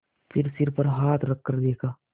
फिर सिर पर हाथ रखकर देखा